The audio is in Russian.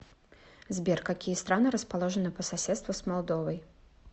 сбер какие страны расположены по соседству с молдовой